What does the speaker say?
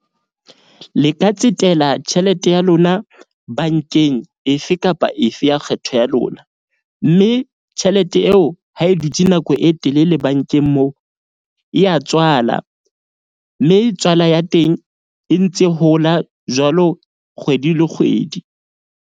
Le ka tsetela tjhelete ya lona bank-eng efe kapa efe ya kgetho ya lona. Mme tjhelete eo ha e dutse nako e telele bank-eng moo e ya tswala. Mme tswala ya teng e ntse hola jwalo kgwedi le kgwedi.